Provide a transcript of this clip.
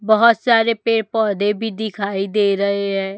बहोत सारे पेड़ पौधे भी दिखाई दे रहे हैं।